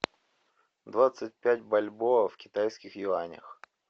двадцать пять бальбоа в китайских юанях